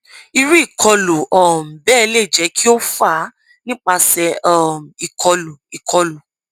iru ikolu um bẹẹ le jẹ ki o fa nipasẹ um ikolu ikolu